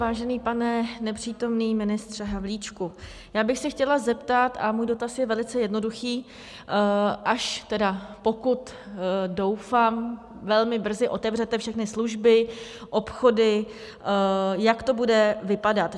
Vážený pane nepřítomný ministře Havlíčku, já bych se chtěla zeptat - a můj dotaz je velmi jednoduchý: až tedy, pokud doufám, velmi brzy otevřete všechny služby, obchody, jak to bude vypadat?